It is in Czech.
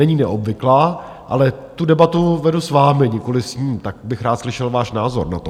Není neobvyklá, ale tu debatu vedu s vámi, nikoliv s ním, tak bych rád slyšel váš názor na to.